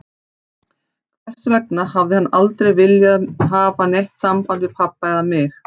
Hvers vegna hafði hann aldrei viljað hafa neitt samband við pabba eða mig?